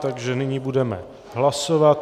Takže nyní budeme hlasovat.